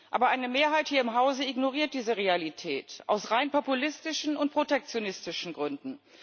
Aber eine Mehrheit hier im Hause ignoriert diese Realität aus rein populistischen und protektionistischen Gründen.